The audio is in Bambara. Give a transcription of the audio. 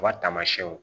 U ka taamayɛnw